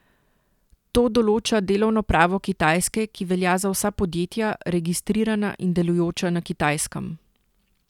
To določa delovno pravo Kitajske, ki velja za vsa podjetja, registrirana in delujoča na Kitajskem.